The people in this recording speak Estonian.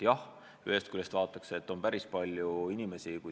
Jah, ühest küljest on avalik teenistus atraktiivne.